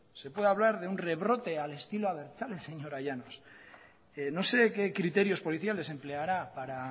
se puede hablar de un rebrote al estilo abertzale señora llanos no sé qué criterios policiales empleará para